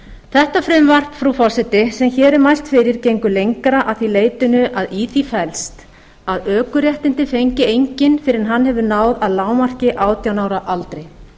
þetta frumvarp frú forseti sem hér er mælt fyrir gengur lengra að því leytinu að í því felst að ökuréttindi fengi enginn fyrr en hann hefur náð að lágmarki átján ára aldri